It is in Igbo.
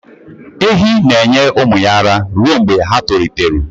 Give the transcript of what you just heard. Ehi ga-enye ụmụ ya ara ruo mgbe ha tolitetụrụ